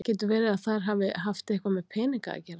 Getur verið að það hafi haft eitthvað með peninga að gera?